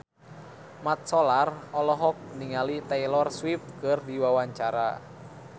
Mat Solar olohok ningali Taylor Swift keur diwawancara